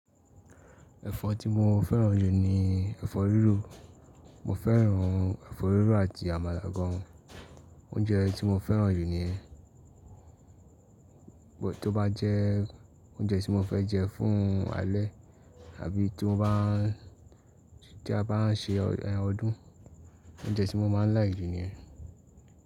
Ẹ̀fọ́ tí mo fẹ́ràn jù ni ẹ̀fọ́ rírò, mo fẹ́ràn ẹ̀fọ́ rírò àti àmàlà gan. Oúnjẹ tí mo fẹ́ràn jù ni, but tí ó bá jẹ́ oúnjẹ tí mo fẹ́ jẹ fún alẹ́ àbí tí mo bá n, tí a bá n ṣe ọdún, oúnjẹ tí mo máa ń like jù ni ẹ.